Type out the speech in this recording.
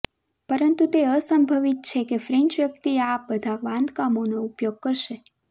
પરંતુ તે અસંભવિત છે કે ફ્રેન્ચ વ્યક્તિ આ બધાં બાંધકામોનો ઉપયોગ કરશે